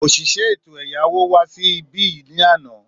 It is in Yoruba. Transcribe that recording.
Òṣìṣẹ́ ètò ẹ̀yáwó wá sí ibí yìí ni àná